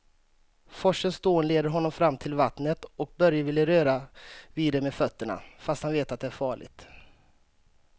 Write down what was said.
Forsens dån leder honom fram till vattnet och Börje vill röra vid det med fötterna, fast han vet att det är farligt.